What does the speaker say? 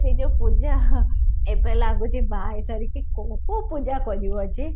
ସେଇ ଯାଉ ପୂଜା ଏବେ ଲାଗୁଛି ବାହା ହେଇ ସାରିକି କଉ କଉ ପିଜା କରିବ ଯେ?